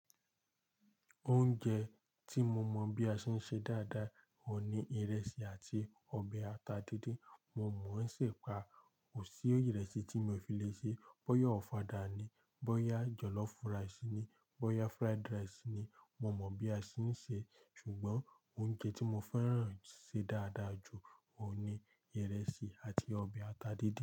Oúnjẹ tí mo mọ̀ bí a ṣe ń ṣe dáadáa ò ní ìrẹsì àti ọbẹ̀ ata díndín. Mo mọ̀ ṣèpà, kò sí yu ìrẹsì tí mi ò fi lè ṣe, bọ́yá ọ̀fadà ni, bọ́yá jọ̀lọ́fù ràìsì ni, bọ́yá fried rice ni mo mọ̀ bí a ṣe ń ṣe. Ṣùgbọ́n oúnjẹ tí mo fẹ́ràn ṣe dáadáa jù òun ni ìrẹsì àti ọbẹ̀ ata díndín.